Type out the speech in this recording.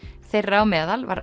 þeirra á meðal var